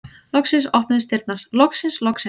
Loksins opnuðust dyrnar, loksins, loksins!